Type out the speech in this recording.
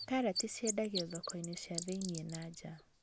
Karati ciendagio thoko-inĩ cia thĩiniĩ na nja